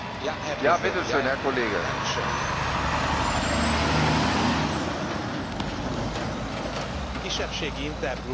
A kisebbségi intergroupban egy jelentést dolgoztunk ki a hagyományos nemzeti kisebbségek védelme érdekében.